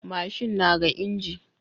Mashin naga inji